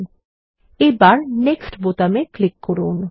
ল্টপাউসেগ্ট এবার নেক্সট বোতামে ক্লিক করুন